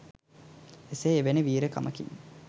එසේ එවැනි වීර කමකින්